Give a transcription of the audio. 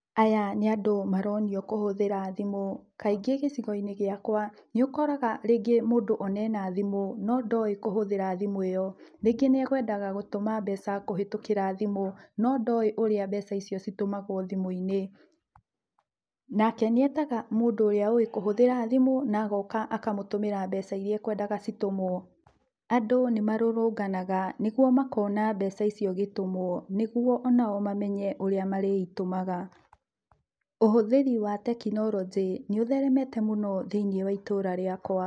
Aya nĩ andũ maronio kũhũthĩra thimũ, kaingĩ gĩcigo-inĩ gĩakwa nĩ ũkoraga rĩngĩ mũndũ ona ena thimu no ndoĩ kũhũthĩra thimũ ĩyo, rĩngĩ nĩekwendaga gũtũma mbeca kũhetũkĩra thimũ no ndoĩ ũrĩa thimũ citũmagwo thimũ-inĩ, nake nĩetaga mũndũ ũrĩa ũĩ kũhũthĩra thimũ na agoka na akamũtũmĩra mbeca iria ekwendaga citũmwo, andũ nĩ marurunganaga nĩguo makona mbeca icio igĩtũmwo, nĩguo onao mamenye ũrĩa marĩitũmaga, ũhũthĩri wa tekinoronjĩ nĩ ũtheremete mũno thĩinĩ wa itũũra rĩakwa.